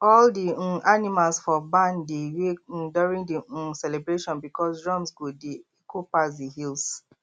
all the um animals for barn dey wake um during the um celebration because drums go dey echo pass the hills